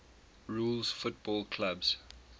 rules football clubs